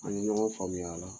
An ye ɲɔgɔn faamuy'a la